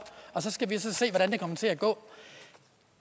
og så skal vi se hvordan det kommer til at gå